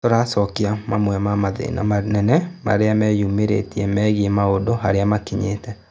Tũracokia mamwe ma mathĩna manene marĩa meyumĩrĩtie megie maũndũ harĩa makinyĩte